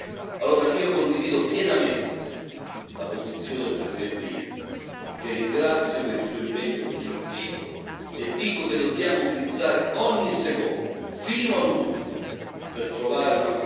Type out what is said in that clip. Allora io condivido pienamente la posizione del Presidente Juncker, che ringrazio per il suo impegno costruttivo, e dico che dobbiamo utilizzare ogni secondo, fino all'ultimo, per trovare un